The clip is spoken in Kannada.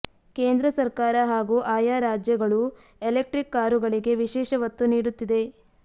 ಕೇಂದ್ರ ಸರ್ಕಾರ ಹಾಗೂ ಆಯಾ ರಾಜ್ಯಗಳು ಎಲೆಕ್ಟ್ರಿಕ್ ಕಾರುಗಳಿಗೆ ವಿಶೇಷ ಒತ್ತು ನೀಡುತ್ತಿದೆ